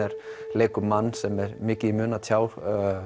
leikur mann sem er mikið í mun að tjá